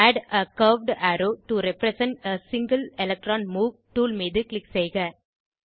add a curved arrow to represent a single electron move tool மீது க்ளிக் செய்க